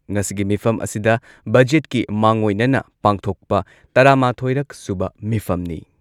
ꯉꯁꯤꯒꯤ ꯃꯤꯐꯝ ꯑꯁꯤꯗ ꯕꯖꯦꯠꯀꯤ ꯃꯥꯡꯑꯣꯏꯅꯅ ꯄꯥꯡꯊꯣꯛꯄ ꯇꯔꯥꯃꯥꯊꯣꯏꯔꯛ ꯁꯨꯕ ꯃꯤꯐꯝꯅꯤ꯫